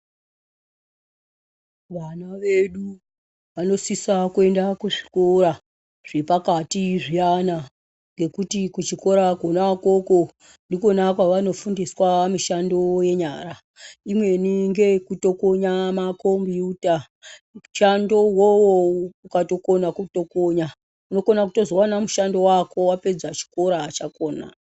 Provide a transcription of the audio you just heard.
Vana vedu vanosisa kuenda kuzvikora zvepakati zviyana. Ngokuti kuchikora kwona ikwokwo ndikwona kwavanofundiswa mishando yenyara. Imweni ngeyekutokonya makombuuta. Mushando uwowo ukatokona kutokonya unokona kuzowana mushando wako wapedza chikora chakhona.